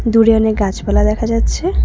দূরে অনেক গাছপালা দেখা যাচ্ছে।